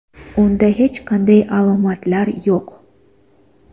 Unda hech qanday alomatlar yo‘q.